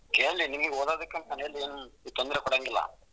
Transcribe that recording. ಕೇಳಿ ನಿಮ್ಗ್ ಓದೋದಕ್ಕೆ ಅಂದ್ರೆ ಮನೆಯಲ್ಲಿ ಏನು ತೊಂದರೆ ಕೊಡಂಗಿಲ್ಲ.